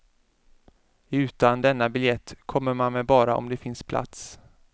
Utan denna biljett kommer man med bara om det finns plats.